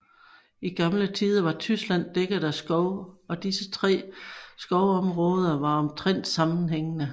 I gamle tider var Tyskland dækket af skov og disse tre skovområder var omtrent sammenhængende